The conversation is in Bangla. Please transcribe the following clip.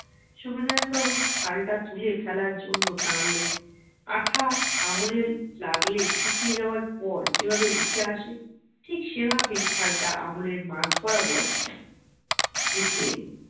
সুবিনয় বাবু ছালটা তুলে ফেলার জন্য টানলেন আঠা আঙুলের লাগলে শুকিয়ে যাওয়ার পর যেভাবে উঠে আসে ঠিক সেই ভাবেই ছালটা আঙুলের মাঝ বরাবর উঠে এলো